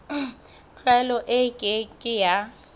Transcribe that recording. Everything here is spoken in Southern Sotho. tlwaelo e ke ke ya